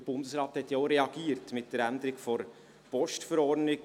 Der Bundesrat hat ja mit der Änderung der VPG auch reagiert.